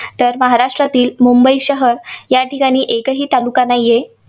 तर महाराष्ट्रातील मुंबई शहर या ठिकाणी एकही तालुका नाहीये.